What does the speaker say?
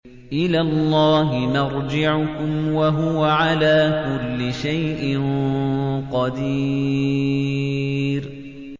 إِلَى اللَّهِ مَرْجِعُكُمْ ۖ وَهُوَ عَلَىٰ كُلِّ شَيْءٍ قَدِيرٌ